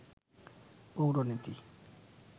পৌরনীতি